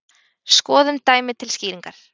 Skoðum dæmi til skýringar.